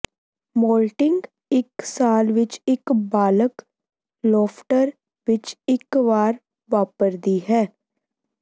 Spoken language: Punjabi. ਮੋਲਟਿੰਗ ਇੱਕ ਸਾਲ ਵਿੱਚ ਇੱਕ ਬਾਲਗ ਲੌਫਟਰ ਵਿੱਚ ਇੱਕ ਵਾਰ ਵਾਪਰਦੀ ਹੈ